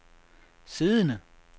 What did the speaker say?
siddende